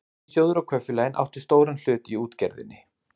Ríkissjóður og kaupfélögin áttu stóran hlut í útgerðinni.